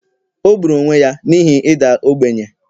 o gburu onwe ya n’ihi ịda ogbenye